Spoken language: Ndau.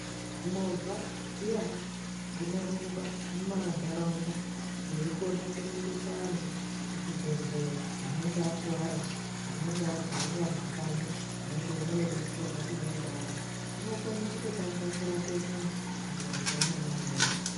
Mova dziyana dzinorumba mumandarawunda dzeyikone kurumbisa antu kuchibhedhleya anenge akuwara, anenge arwarira mumakanyi, anenge eyida kudetserwa eyida kubara, dzinokone kutotange kurape muntu mumova imomo.